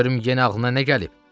De görüm yenə ağlına nə gəlib?